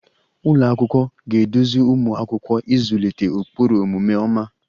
Ụlọ akwụkwọ ga-eduzi ụmụ akwụkwọ ịzụlite ụkpụrụ omume ọma